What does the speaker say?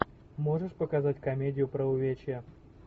можешь показать комедию про увечья